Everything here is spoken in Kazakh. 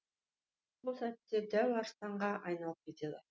сол сәтте дәу арыстанға айналып кетеді